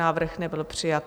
Návrh nebyl přijat.